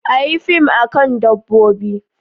Make a film about animals